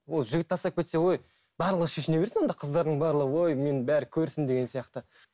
ол жігіт тастап кетсе ой барлығы шешіне берсін онда қыздардың барлығы ой мені бәрі көрсін деген сияқты